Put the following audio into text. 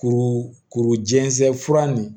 Kuru kuru jɛnsɛn fura nin